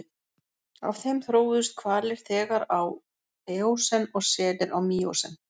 Af þeim þróuðust hvalir þegar á eósen og selir á míósen.